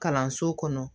Kalanso kɔnɔ